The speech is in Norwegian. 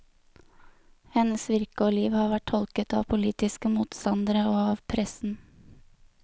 Hennes virke og liv har vært tolket av politiske motstandere og av pressen.